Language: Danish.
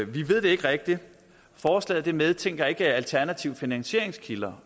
vi ved det ikke rigtigt forslaget medtænker ikke alternative finansieringskilder